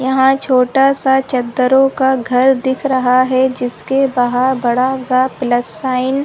यहाँ छोटा सा चद्दरो का घर दिख रहा है जिसके बाहर बड़ा सा प्लस साईंन --